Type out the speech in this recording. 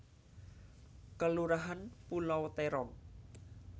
Kelurahan Pulau Terong